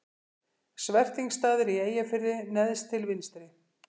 Svertingsstaðir í Eyjafirði neðst til vinstri.